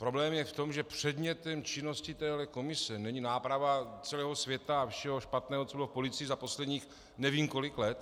Problém je v tom, že předmětem činnosti téhle komise není náprava celého světa a všeho špatného, co bylo v policii za posledních nevím kolik let.